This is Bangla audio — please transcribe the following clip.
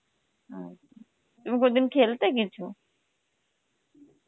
আচ্ছা, আমি কোনদিন খেলতে কিছু?